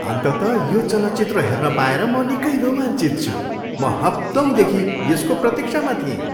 अन्ततः यो चलचित्र हेर्न पाएर म निकै रोमाञ्चित छु! म हप्तौँदेखि यसको प्रतिक्षामा थिएँ।